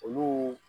Olu